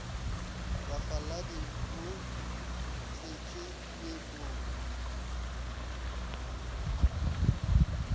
bafaladi ba bo thwetšwe meepong